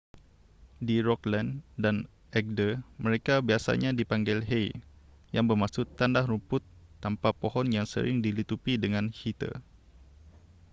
di rogaland dan agder mereka biasanya dipanggil hei yang bermaksud tanah rumput tanpa pohon yang sering dilitupi dengan heather